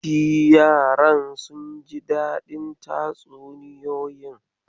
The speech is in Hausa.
Shi yaran sun ji daɗin tatsuniyoyin?